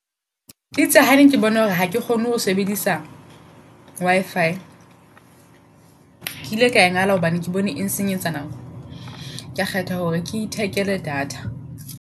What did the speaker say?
Eitse ha ne ke bona hore ha ke kgone ho sebedisa Wi-fi. Ke ile ka e ngala hobane ke bone e nsenyetsa nako. Ka kgetha hore ke ithekele data.